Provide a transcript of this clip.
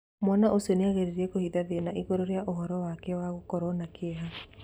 Mwana ũcio nĩageririe kũhitha nyina igũrũ rĩa ũhoro wake wa gũkorwo na kĩeha.